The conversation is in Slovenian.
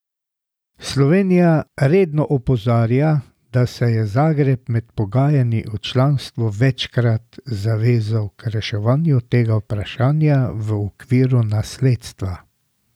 Slovenija redno opozarja, da se je Zagreb med pogajanji o članstvu večkrat zavezal k reševanju tega vprašanja v okviru nasledstva.